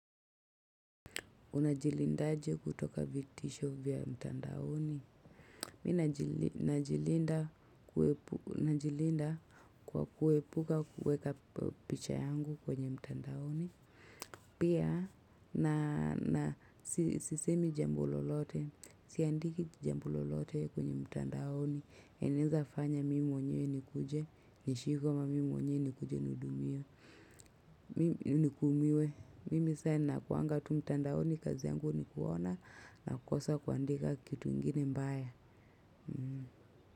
Unajilinda aje kutoka vitisho vya mtandaoni. Mimi najilinda kwa kuepuka kuweka picha yangu kwenye mtandaoni. Pia na sisemi jambo lolote. Sia ndiki jambo lolote kwenye mtandaoni. Enaweza fanya mimi mwenyewe nikuje. Nishi kama mimi mwenyewe nikuje nihudumiwe. Nikuumiwe. Mimi saa hii nakuwaga tu mtandaoni kazi yangu ni kuona na kukosa kuandika kitu ingine mbaya.